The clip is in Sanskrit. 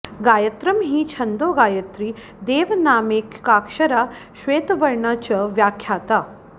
गायत्रं हि छन्दो गायत्री देवानामेकाक्षरा श्वेतवर्णा च व्याख्याता